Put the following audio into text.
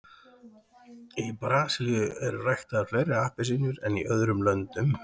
í brasilíu eru ræktaðar fleiri appelsínur en í öðrum löndum